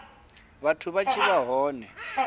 vhathu vha tshi vha hone